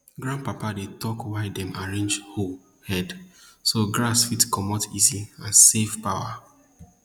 grandpapa dey talk why dem arrange hoe head so grass fit comot easy and save power